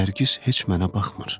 Nərgiz heç mənə baxmır.